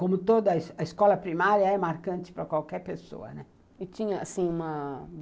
Como toda escola primária é marcante para qualquer pessoa, né. E tinha assim, uma...